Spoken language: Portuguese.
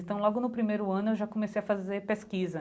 Então, logo no primeiro ano, eu já comecei a fazer pesquisa.